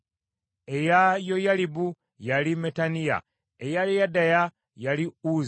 eya Yoyalibu, yali Mattenayi; eya Yedaya, yali Uzzi;